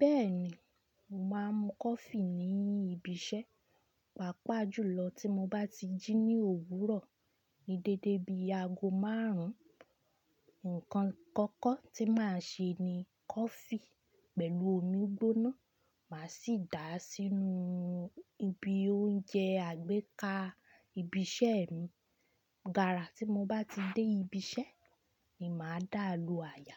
Bẹ́ẹ̀ni, màá mu coffee ní ibi iṣẹ́. Pàápàá jùlọ tí mo bá ti jí ní òwúrọ̀ ní dédé bí aago márùn ún. Ǹkan kọ́kọ́ tí màá ṣe ni coffee pẹ̀lú omi gbóná. Màá sì dà á sínú ibi oúnjẹ àgbéká ibi iṣẹ́ mi. Gàrà tí mo bá ti dé ibi iṣẹ́ ni màá dà á lo àyà.